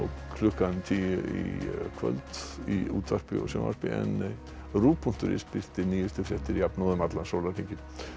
klukkan tíu í kvöld í útvarpi og sjónvarpi en rúv punktur is birtir nýjustu fréttir jafnóðum allan sólarhringinn